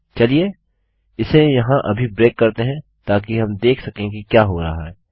चलिए इसे यहाँ अभी ब्रेक करते हैं ताकि हम देख सकें कि क्या हो रहा है